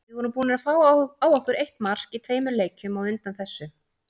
Við vorum búnir að fá á okkur eitt mark í tveimur leikjum á undan þessu.